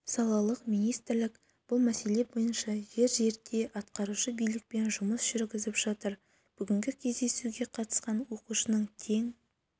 салалық министрлік бұл мәселе бойынша жер-жерде атқарушы билікпен жұмыс жүргізіп жатыр бүгінгі кездесуге қатысқан оқушының тең